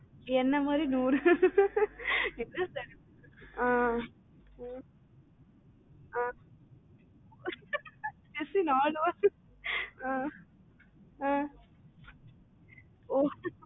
என்ன மாறி நூறு என்ன sir இப்படி ஆஹ் ஆஹ் jessie நாலு வானரத்துக்கு ஆஹ் ஆஹ் ஓ